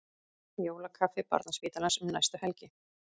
Jólakaffi Barnaspítalans um næstu helgi